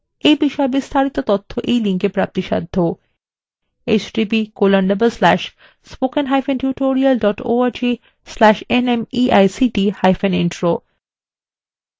এই বিষয় বিস্তারিত তথ্য এই লিঙ্কএ প্রাপ্তিসাধ্য